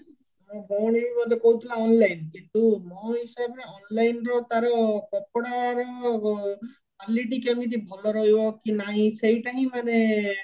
ମୋ ଭଉଣୀ ବି ବୋଧେ କହୁଥିଲା online କିନ୍ତୁ ମୋ ହିସାବରେ online ରୁ ତାର କପଡାର quality କେମିତି ଭଲ ରହିବ କି ନାହି ସେଇଟା ହିଁ ମାନେ